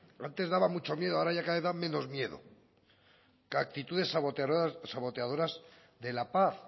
antes daba mucho miedo ahora da cada vez menos miedo que actitudes saboteadoras de la paz